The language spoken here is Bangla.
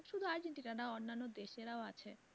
শুধু argentina না অন্যান্য দেশেরাও আছে।